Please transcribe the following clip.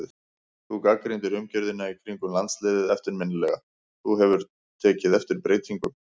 Þú gagnrýndir umgjörðina í kringum landsliðið eftirminnilega, hefur þú tekið eftir breytingum?